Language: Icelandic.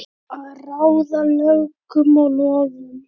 Að ráða lögum og lofum.